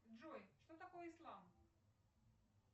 джой что такое ислам